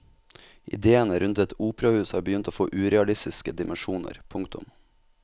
Idéene rundt et operahus har begynt å få urealistiske dimensjoner. punktum